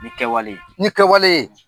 Ni kɛwale ni kɛwalee